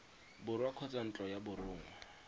borwa kgotsa ntlo ya borongwa